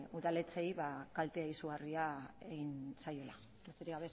udaletxeei kalte izugarria egin zaiela besterik